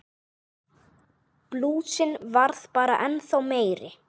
Blúsinn varð bara ennþá meiri.